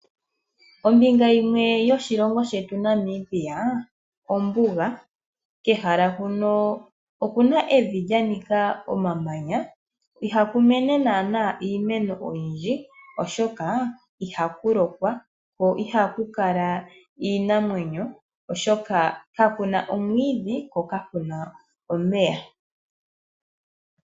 Ombinga yimwe yoshilongo shetu Namibia ombuga, kehala hono okuna evi lyanika omamanya, ohaku mene iimeno oyindji oshoka ihaku lokwa, ko ihaku kala iinamwenyo oshoka ka kuna omwiidhi ko ka kuna omeya.